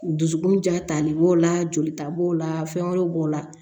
Dusukun ja tali b'o la jolita b'o la fɛn wɛrɛ b'o la